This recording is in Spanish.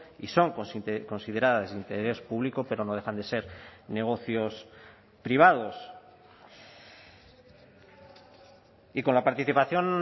y son consideradas de interés público pero no dejan de ser negocios privados y con la participación